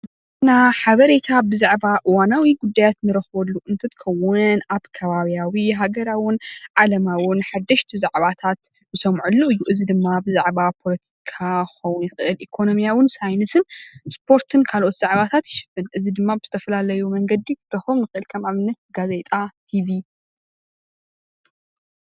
ዜና ሓበሬታ ብዛዕባ እዋናዊ ጉዳያት እንረክበሉ እትትከውን ኣብ ከባቢያዊን ሃገራዊን ዓለዊን ሓደሽቲ ዛዕባታት እንሰምዐሉ እዩ፡፡ እዚ ድማ ብዛዕባ ፖለቲካ ክኮን ይክእል ኢኮኖሚያዊን ሳይነስን እስፖርትን ካልኦት ዛዕባታትን ይሽፍን፡፡ እዚ ድማ ብዝተፈላለዩ መንገዲ ክንረክቦም ንክእል፡፡ ከም ንኣብነት ጋዜጣ፣ ቲቪ፣